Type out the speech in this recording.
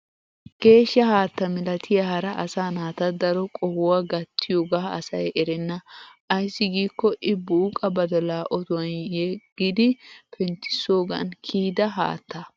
Geeshsha haatta milatiya hara asaa naata daro qohuwaa gattiyoogaa asay erenna. Ayssi giikko I buuqa badalaa otuwan yeqqidi penttissoogan kiyida haattaa.